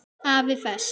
AFI Fest